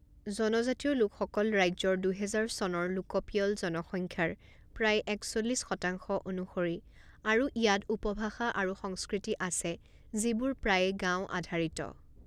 জনজাতীয় লোকসকল ৰাজ্যৰ দুহেজাৰ চনৰ লোকপিয়ল জনসংখ্যাৰ প্ৰায় একচল্লিছ শতাংশ অনুসৰি আৰু ইয়াত উপভাষা আৰু সংস্কৃতি আছে যিবোৰ প্ৰায়ে গাঁও আধাৰিত।